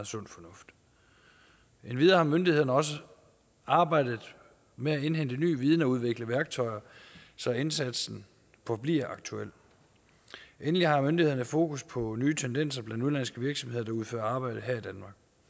sund fornuft endvidere har myndighederne også arbejdet med at indhente ny viden og udvikle værktøjer så indsatsen forbliver aktuel endelig har myndighederne fokus på nye tendenser blandt udenlandske virksomheder der udfører arbejde her